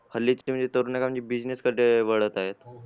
हरलेचहल्लीच तरुण म्हणजे business कडे अं वळत आहेत